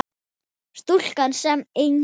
Stúlkan sem enginn sér.